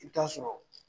I bɛ taa sɔrɔ